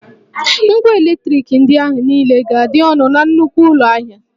Ngwà eletriki ndị ahị niile ga-adị ọnụ na nnukwu ụlọ ahịa